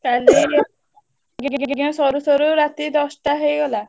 କାଲି ଯଜ୍ଞ ସରୁସରୁ ରାତି ଦଶଟା ହେଇଗଲା।